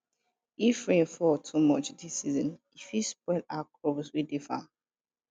if rain fall too much dis season e fit spoil our crops wey dey farm